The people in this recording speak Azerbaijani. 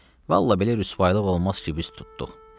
Vallah belə rüsvalıq olmaz ki, biz tutduq.”